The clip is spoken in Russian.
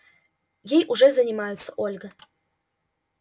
ей уже занимаются ольга